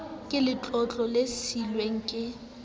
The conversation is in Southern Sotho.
ka letlotlo le siilweng ke